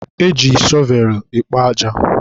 e ji shọvelụ ekpo aja.